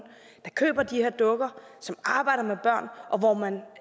der køber de her dukker og som arbejder med børn